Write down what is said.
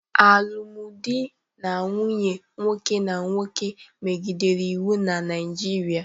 Alụmdi na nwunye nwoke na nwoke megidere iwu na Naịjirịa